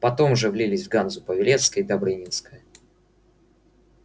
потом уже влились в ганзу павелецкая и добрынинская